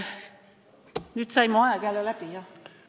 Kas nüüd sai mu aeg jälle läbi, jah?